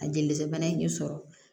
A jelisi bana in k'i sɔrɔ